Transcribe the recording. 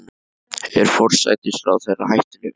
Er forsætisráðherra hættulegur?